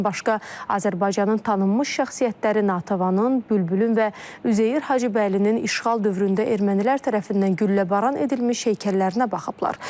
Bundan başqa, Azərbaycanın tanınmış şəxsiyyətləri Natavanın, Bülbülün və Üzeyir Hacıbəylinin işğal dövründə ermənilər tərəfindən gülləbaran edilmiş heykəllərinə baxıblar.